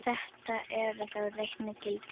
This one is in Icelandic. Þetta eru þá reiknuð gildi.